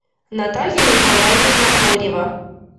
наталья николаевна хорева